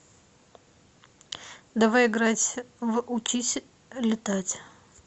давай играть в учись летать